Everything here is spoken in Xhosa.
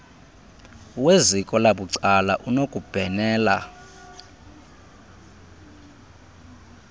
weziko labucala unokubhenela